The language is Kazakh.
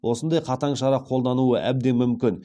осындай қатаң шара қолдануы әбден мүмкін